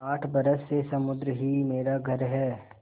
आठ बरस से समुद्र ही मेरा घर है